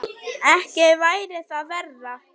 Ekki væri það verra!